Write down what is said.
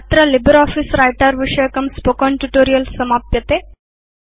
अत्र LibreOffice Writer विषयकं spoken tutorial समाप्यते